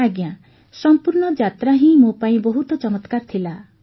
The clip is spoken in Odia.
ଆଜ୍ଞା ସଂପୂର୍ଣ୍ଣ ଯାତ୍ରା ହିଁ ମୋ ପାଇଁ ବହୁତ ଚମତ୍କାର ଥିଲା